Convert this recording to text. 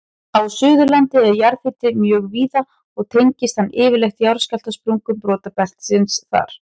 Á Suðurlandi er jarðhiti mjög víða og tengist hann yfirleitt jarðskjálftasprungum brotabeltisins þar.